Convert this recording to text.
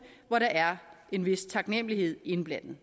hvor der er en vis taknemlighed indblandet